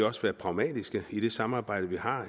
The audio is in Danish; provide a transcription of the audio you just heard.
også være pragmatisk i det samarbejde man har